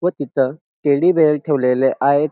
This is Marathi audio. व तिथं टेडी बेअर ठेवलेले आहेत.